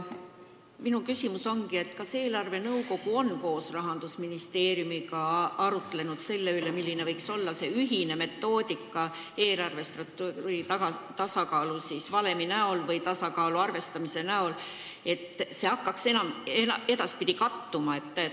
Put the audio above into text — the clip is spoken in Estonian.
Minu küsimus ongi, kas eelarvenõukogu on koos Rahandusministeeriumiga arutlenud selle üle, milline võiks olla ühine metoodika eelarvestrateegia tasakaaluvalemi või tasakaalu arvestamise jaoks, et need hakkaksid edaspidi kattuma.